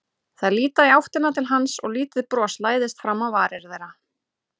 Þær líta í áttina til hans og lítið bros læðist fram á varir þeirra.